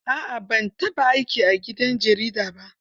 A'a ban taɓa aiki a gidan jarida ba.